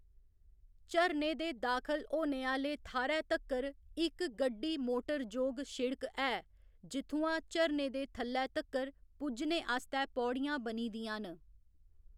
झरने दे दाखल होने आह्‌ले थाह्‌रै तक्कर इक गड्डी मोटर जोग सिड़क ऐ, जित्थुआं झरने दे थल्लै तक्कर पुज्जने आस्तै पौड़ियां बनी दियां न।